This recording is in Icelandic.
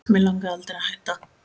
Mig langaði aldrei að hætta